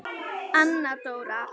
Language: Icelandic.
Anna Dóra.